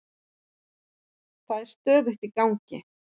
Það er stöðugt í gangi.